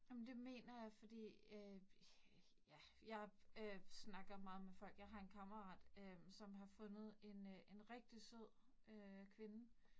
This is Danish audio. Ej men det mener jeg fordi øh ja, jeg øh snakker meget med folk, jeg har en kammerat øh, som har fundet en øh en rigtig sød øh kvinde